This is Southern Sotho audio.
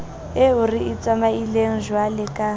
eo re e tsamaileng jwaleka